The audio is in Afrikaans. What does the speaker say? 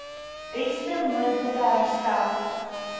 beste moontlike herstel